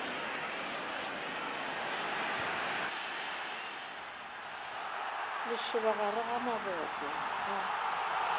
lešoba gare ga maboto a